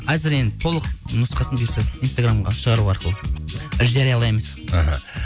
әзір енді толық нұсқасын бұйырса инстаграмға шығару арқылы жариялаймыз іхі